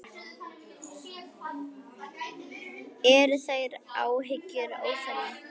Eru þær áhyggjur óþarfi?